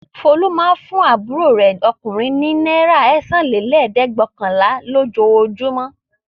Folú máa ń fún àbúrò rẹ̀ ọkùnrin ní náírà ẹ̀sánlélẹ́ẹ̀dẹ́gvẹ̀ọ̀kànlá lójoojúmọ́.